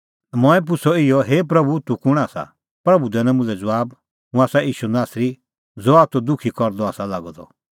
मंऐं पुछ़अ इहअ हे प्रभू तूह कुंण आसा प्रभू दैनअ मुल्है ज़बाब हुंह आसा ईशू नासरी ज़हा तूह दुखी करदअ आसा लागअ द